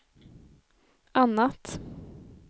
annat